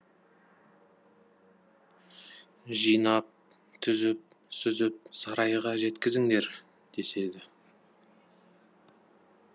жинап түзіп сүзіп сарайға жеткізіңдер деседі